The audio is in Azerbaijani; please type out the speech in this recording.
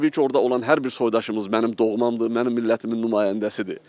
Təbii ki, orada olan hər bir soydaşımız mənim doğmamdır, mənim millətimin nümayəndəsidir.